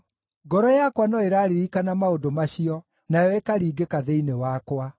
Ngoro yakwa no ĩraririkana maũndũ macio, nayo ĩkaringĩka thĩinĩ wakwa.